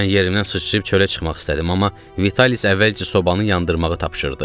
Mən yerimdən sıçrayıb çölə çıxmaq istədim, amma Vitalis əvvəlcə sobanı yandırmağı tapşırdı.